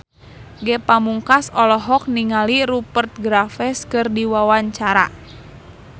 Ge Pamungkas olohok ningali Rupert Graves keur diwawancara